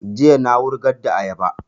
Jiya na wurgar da ayaba